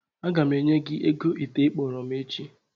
A gam enye gi ego ite ị kpụụrụ m echi